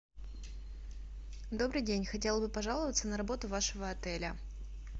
добрый день хотела бы пожаловаться на работу вашего отеля